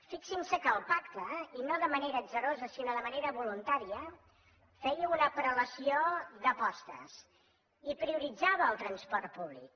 fixin se que el pacte i no de manera atzarosa sinó de manera voluntària feia una prelació d’apostes i prioritzava el transport públic